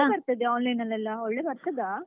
ಹೇಗೆ ಬರ್ತದೆ online ಲೆಲ್ಲ ಒಳ್ಳೆ ಬರ್ತದ?